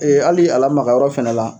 hali a lamaga yɔrɔ fɛnɛ la